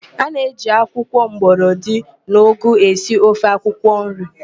A na-eji akwụkwọ mgbọrọdị na ụgụ esi ofe akwụkwọnri